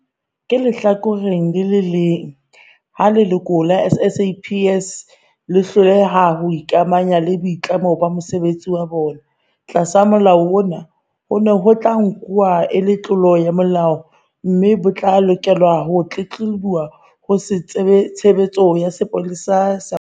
Ka lehlakoreng le leng, ha leloko la SAPS le hloleha ho ikamahanya le boitlamo ba mosebetsi wa bona, tlasa Molao ona, hono ho tla nku-wa e le tlolo ya molao mme ho tla lokelwa ho tlelehuwa ho Tshebe-letso ya Sepolesa ya Mongodi wa Setjhaba.